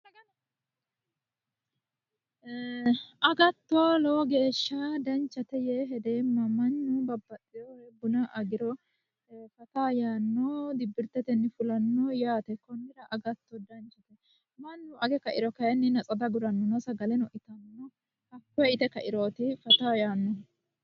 agatto lowo geeshsha danchate yee hedeemma mannu babbaxino buna agiro faa yaanno dibbirtete fulanno yaate konnira agatto danchate mannu age kairo kayiinni sagele ite kairoori fataa yaannohu